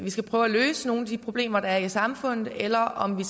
skal prøve at løse nogle af de problemer der er i samfundet eller om vi